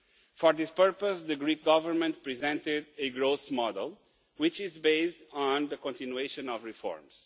For this purpose the Greek Government presented a growth model which is based on the continuation of reforms.